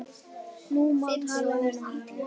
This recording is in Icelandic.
Nú má tala um þá.